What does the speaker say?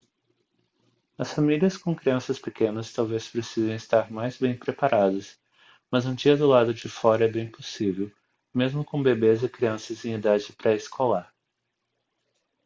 as famílias com crianças pequenas talvez precisem estar mais bem preparadas mas um dia do lado de fora é bem possível mesmo com bebês e crianças em idade pré-escolar